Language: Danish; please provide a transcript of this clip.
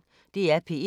DR P1